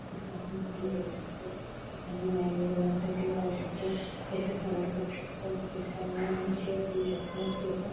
तिथे आपण कटिंग करू शकतो जाऊ शकतो केस सरळ करू शकतो केसांना नवीन शेप देऊ शकतो केस--